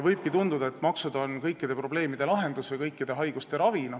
Võibki tunduda, et maksud on kõikide probleemide lahendus või kõikide haiguste ravi.